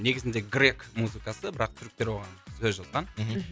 негізінде грек музыкасы бірақ түріктер оған сөз жазған мхм